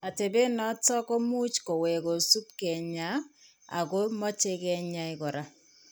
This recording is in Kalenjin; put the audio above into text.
Atepet noton ko much kowek kosubi keny'aay, ako mache ke ny'aay kora.